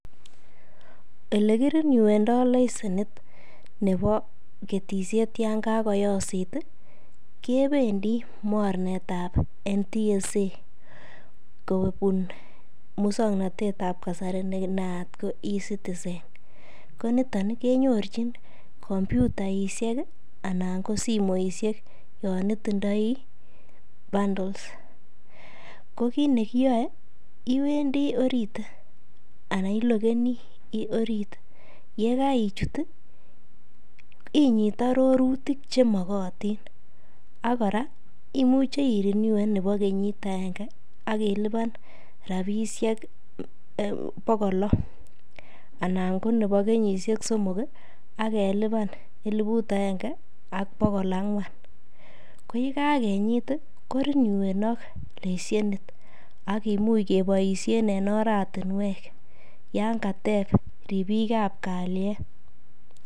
Ele kirenewendo licence nebo ketisiet yon kagoyosit ii, kebendi mornet ab NTSA kobun muswoknatet ab kasari ne naat ko E-Citizen ko noto kinyorchin kompyutaishek anan ko simoishek yon itindoi bundles ko kiit ne iyoi iwendi orit anan iloggeni orit. Ye karichut inyit arorrutik chemogotin. Ak kora imuche irenewen nebo kenyit agenge ak ilipan rabishek bogol lo anan ko nebo kenyisiek somok ak ilipan elibut agenge ak bogol ang'wan. Ko ye kaginyit ii, korenewenok lesenit ak kimuch keboisien en oratinwek yan kateb ripik ab kalyet.